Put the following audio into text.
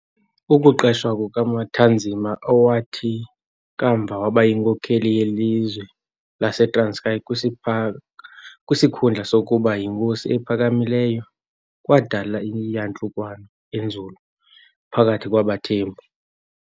Ukuqeshwa kukaMatanzima, owathi kamva waba yinkokeli "yelizwe" laseTranskei - kwisipha kwisikhundla sokuba yiNkosi ePhakamileyo kwadala iyantlukwano enzulu phakathi kwabaThembu.